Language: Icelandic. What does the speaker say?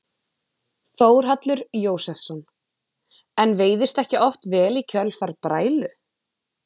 Þórhallur Jósefsson: En veiðist ekki oft vel í kjölfar brælu?